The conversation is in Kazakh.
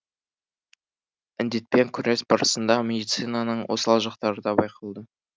індетпен күрес барысында медицинаның осал жақтары да байқалды